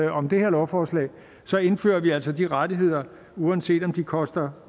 om det her lovforslag så indfører vi altså de rettigheder uanset om de koster